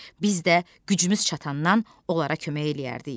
Biz də gücümüz çatandan onlara kömək eləyərdik.